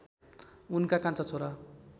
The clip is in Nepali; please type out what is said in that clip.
उनका कान्छा छोरा